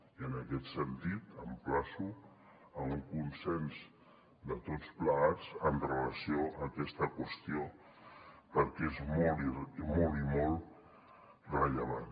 i en aquest sentit emplaço a un consens de tots plegats amb relació a aquesta qüestió perquè és molt i molt rellevant